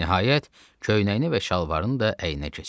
Nəhayət köynəyini və şalvarını da əyninə keçirdi.